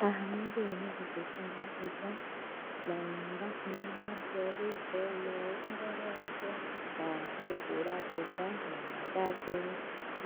Haha mũndũ ũyũ nĩ gũthĩnja arathĩnja. Na nĩ ũrakiona nĩ andũ eri, he ũmwe ũmũrorete na hena ũngĩ arathĩnja na magathĩ,